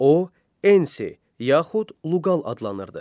O Ensi yaxud Luqal adlanırdı.